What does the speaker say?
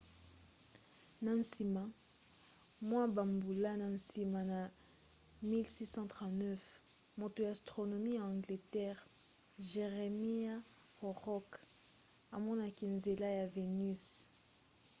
na nsima mwa bambula na nsima na 1639 moto ya astronomi ya angleterre jeremiah horrokc amonaki nzela ya venus